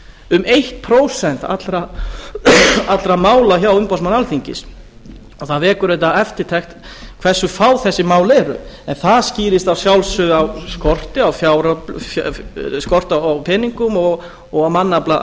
um eitt prósent allra mála hjá umboðsmanni alþingis og það vekur auðvitað eftirtekt hversu fá þessi mál eru það skýrist að sjálfsögðu á skorti á peningum og mannafla